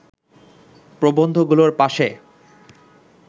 প্রবন্ধগুলোর পাশে